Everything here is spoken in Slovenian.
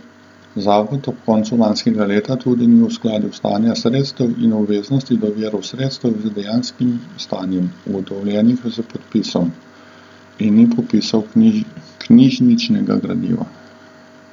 Zavod ob koncu lanskega leta tudi ni uskladil stanja sredstev in obveznosti do virov sredstev z dejanskim stanjem, ugotovljenim s popisom, in ni popisal knjižničnega gradiva.